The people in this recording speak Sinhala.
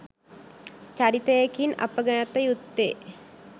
චරිතයකින් අප ගත යුත්තේ